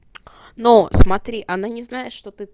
ну смотри она не знает что ты